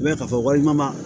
N bɛ ka fɔ walima